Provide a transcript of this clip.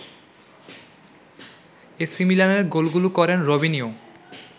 AC মিলানের গোলগুলো করেন রবিনিয়ো